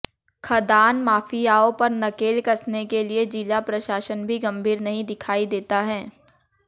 खदान माफियाओं पर नकेल कसने के लिए जिला प्रशासन भी गंभीर नहीं दिखाई देता है